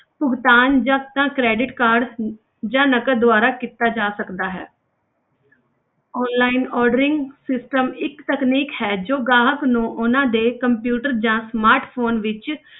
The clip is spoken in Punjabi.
ਭੁਗਤਾਨ ਜਾਂ ਤਾਂ credit card ਜਾਂ ਨਕਦ ਦੁਆਰਾ ਕੀਤਾ ਜਾ ਸਕਦਾ ਹੈ online ordering system ਇੱਕ ਤਨਕੀਨਕ ਹੈ, ਜੋ ਗਾਹਕ ਨੂੰ ਉਹਨਾਂ ਦੇ computer ਜਾਂ smartphone ਵਿੱਚ,